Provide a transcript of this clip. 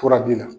Fura b'i la